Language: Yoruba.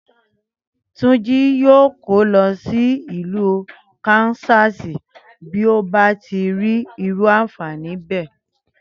Túnjí yóò kó lọ sí ìlú Kansas bí ó bá rí irú ànfàní bẹ́ẹ̀